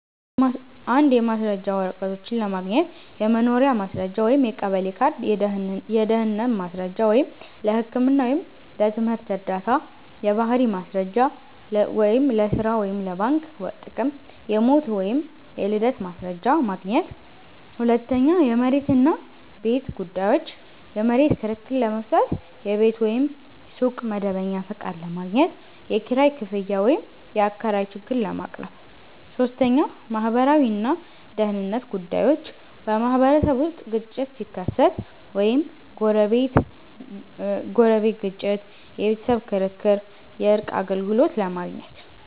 1. የማስረጃ ወረቀቶች ለማግኘት · የመኖሪያ ማስረጃ (የቀበሌ ካርድ) · የድህነት ማስረጃ (ለህክምና ወይም ለትምህርት ዕርዳታ) · የባህሪ ማስረጃ (ለሥራ ወይም ለባንክ ጥቅም) · የሞት ወይም የልደት ማስረጃ ማግኘት 2. የመሬት እና ቤት ጉዳዮች · የመሬት ክርክር ለመፍታት · የቤት ወይም ሱቅ መደበኛ ፈቃድ ለማግኘት · የኪራይ ክፍያ ወይም የአከራይ ችግር ለማቅረብ 3. ማህበራዊ እና ደህንነት ጉዳዮች · በማህበረሰብ ውስጥ ግጭት ሲከሰት (ጎረቤት ግጭት፣ የቤተሰብ ክርክር) የእርቅ አገልግሎት ለማግኘት